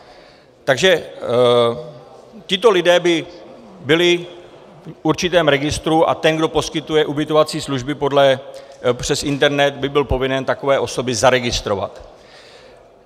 Takže tito lidé by byli v určitém registru a ten, kdo poskytuje ubytovací služby přes internet, by byl povinen takové osoby zaregistrovat.